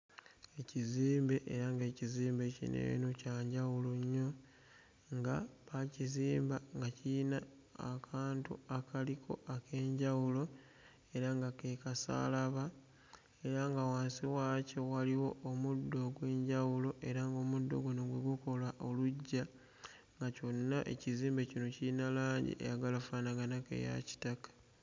Ekizimbe era ng'ekizimbe kino eno kya njawulo nnyo nga baakizimba nga kiyina akantu akaliko ak'enjawulo era nga ke kasaalaba era nga wansi waakyo waliwo omuddo ogw'enjawulo era ng'omuddo guno gwe gukola oluggya nga kyonna ekizimbe kino kiyina langi eyagala offaanaganako eya kitaka.